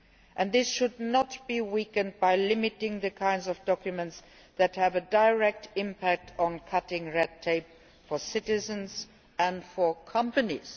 and this should not be weakened by limiting the types of documents which have a direct impact on cutting red tape for citizens and companies.